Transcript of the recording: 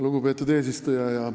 Lugupeetud eesistuja!